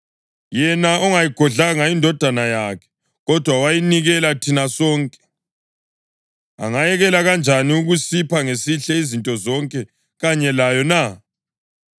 Yena ongayigodlanga iNdodana yakhe, kodwa wayinikelela thina sonke, angayekela kanjani ukusipha ngesihle izinto zonke kanye layo na?